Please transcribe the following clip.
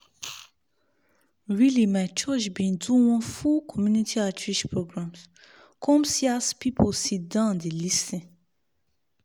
really my church been do one full community outreach programs come see as people sit down dey lis ten